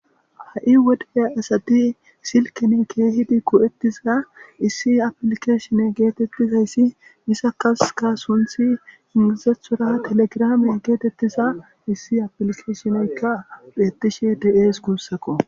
ha7i wode asati silkene kehidi go7ettiza issi apilikeshine geetettizayssi misakaska sunthi ingizethora telegrame geetettiza issi apilikeshineykka pheettishi de7ees guussako